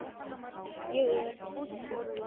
Ég er fúll og reiður.